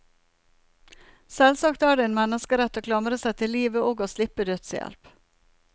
Selvsagt er det en menneskerett å klamre seg til livet og å slippe dødshjelp.